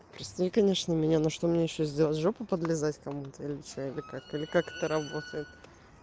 прости конечно меня но что мне ещё сделать жопу подлизать кому-то или что или как или как это работает